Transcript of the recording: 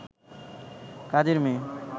কাজের মেয়ে